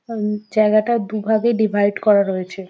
উম জায়গাটা দুভাগে ডিভাইট করা রয়েছে।